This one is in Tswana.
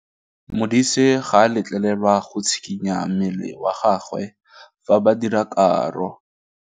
Modise ga a letlelelwa go tshikinya mmele wa gagwe fa ba dira karô.